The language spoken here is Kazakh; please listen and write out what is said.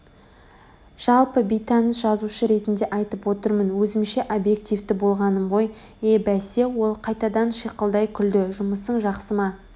жалпы бейтаныс жазушы ретінде айтып отырмын Өзімше объективті болғаным ғой е бәсе ол қайтадан шиқылдай күлді жұмысың жақсы ма